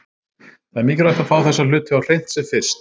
Það er mikilvægt að fá þessa hluti á hreint sem fyrst.